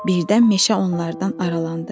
Birdən meşə onlardan aralandı.